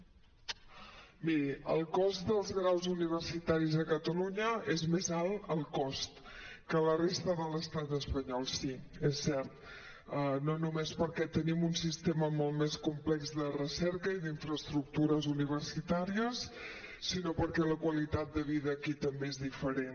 miri el cost dels graus universitaris a catalunya és més alt el cost que la resta de l’estat espanyol sí és cert no només perquè tenim un sistema molt més com·plex de recerca i d’infraestructures universitàries sinó perquè la qualitat de vida aquí també és diferent